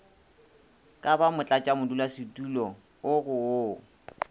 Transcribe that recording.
ka ba motlatšamodulasetulo go wo